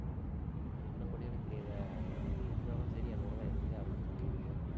என்ன பண்ணுவியோ எனக்குத் தெரியாதே. அஹ் அன்னைக்கு நீ என்ன ஆனாலும் சரி என் கூடத் தான் இருந்தே ஆகணும்னு சொல்லியிருக்கேன்